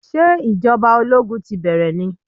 Sé ìjọba ológun ti bẹ́rẹ̀ ni?